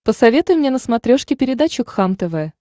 посоветуй мне на смотрешке передачу кхлм тв